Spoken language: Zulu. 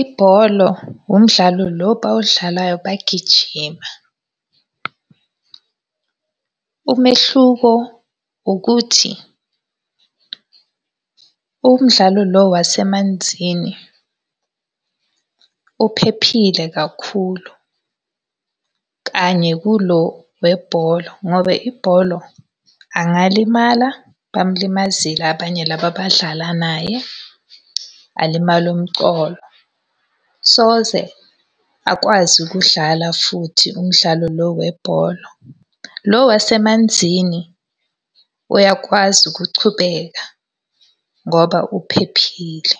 Ibholo umdlalo lo abawudlalayo bagijima. Umehluko ukuthi umdlalo lo wasemanzini uphephile kakhulu kanye kulo webholo, ngoba ibholo angalimala, bamulimazile abanye laba abadlala naye, alimale umcolo. Soze akwazi ukudlala futhi umdlalo lo webholo. Lo wasemanzini uyakwazi ukuchubeka ngoba uphephile.